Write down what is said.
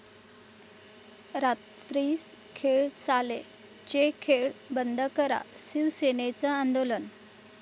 रात्रीस खेळ चाले'चे 'खेळ' बंद करा, शिवसेनेचं आंदोलन